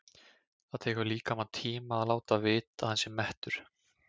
Það tekur líkamann tíma að láta vita að hann sé mettur.